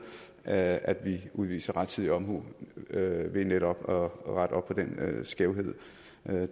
at at vi udviser rettidig omhu ved netop at rette op på den skævhed